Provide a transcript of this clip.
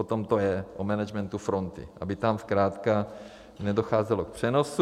O tom to je, o managementu fronty, aby tam zkrátka nedocházelo k přenosu.